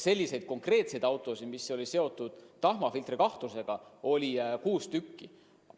Selliseid autosid, mille puhul oli asi tahmafiltri olemasolu kahtluses, oli kuus tükki.